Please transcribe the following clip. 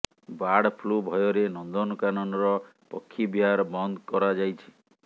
bird flu ଭୟରେ ନନ୍ଦନକାନନର ପକ୍ଷୀ ବିହାର ବନ୍ଦ କରାଯାଇଛି